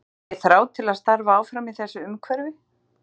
Hef ég þrá til að starfa áfram í þessu umhverfi?